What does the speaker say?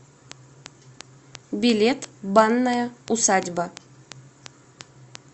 билет банная усадьба